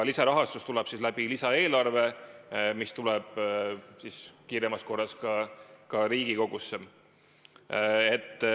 Lisarahastus tuleb lisaeelarvest, mis tuleb kiiremas korras ka Riigikogusse.